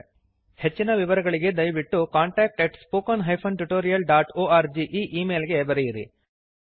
ಹೆಚ್ಚಿನ ವಿವರಗಳಿಗೆ ದಯವಿಟ್ಟು contact at spoken hyphen tutorial dot org ಈ ಈ ಮೇಲ್ ಗೆ ಬರೆಯಿರಿ